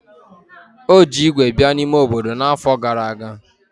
O ji ígwè bịa n'ime obodo n'afọ gara aga.